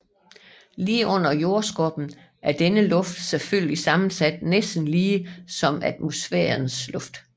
Lige under jordskorpen er denne luft selvfølgelig sammensat næsten lige som atmosfærens luft